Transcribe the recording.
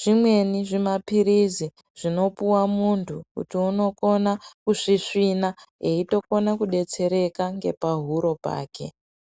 zvimweni zvimaphirizi zvinopuwa muntu kuti unokona kusvisvina eyitokona kudetsereka ngepahuro pake.